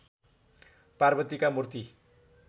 पार्वतीका मूर्ति